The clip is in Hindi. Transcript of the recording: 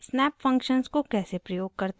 * snap functions को कैसे प्रयोग करते हैं